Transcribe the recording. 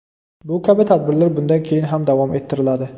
Bu kabi tadbirlar bundan keyin ham davom ettiriladi.